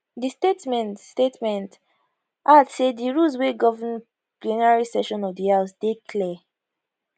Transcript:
di statement statement add say di rules wey govern plenary sessions of di house dey clear